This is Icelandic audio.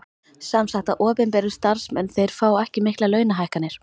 Sem sagt að opinberir starfsmenn þeir fá ekki miklar launahækkanir?